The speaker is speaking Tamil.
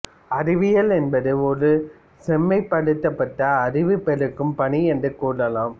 அறிவியல் என்பது ஒரு செம்மைப் படுத்தப்பட்ட அறிவு பெருக்கும் பணி என்று கூறலாம்